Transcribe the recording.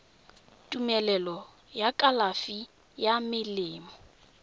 tumelelo ya kalafi ya melemo